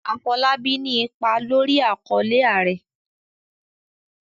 Afolábí ní ipa lórí àkọlé"Ààrẹ".